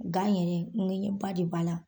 Gan yɛrɛ ŋɛɲɛba de b'a la.